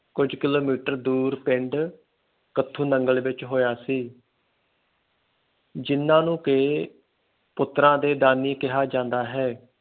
ਕੁਜ ਕਿਲੋਮੀਟਰ ਦੂਰ ਪਿੰਡ ਕਤਹੁ ਨੰਗਲ ਵਿਚ ਹੋਇਆ ਸੀ ਜਿੰਨਾ ਨੂੰ ਕਿ ਪੁੱਤਰਾਂ ਦੇ ਦਾਨੀ ਕਿਹਾ ਜਾਂਦਾ ਹੈ